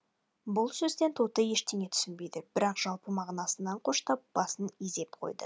бұл сөзден тоты ештеңе түсінбеді бірақ жалпы мағынасын қоштап басын изеп қойды